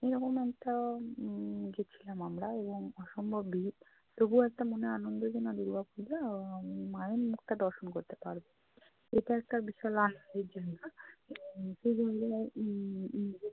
এরকম একটা উম গেছিলাম আমরা অসম্ভব ভিড়। তবুও একটা মনে আনন্দ যে না দুর্গাপূজা, আহ মায়ের মুখটা দর্শন করতে পারবো। এটা একটা বিশাল আনন্দের জন্য উম উম উম